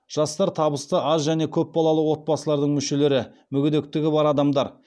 жастар табысы аз және көпбалалы отбасылардың мүшелері мүгедектігі бар адамдар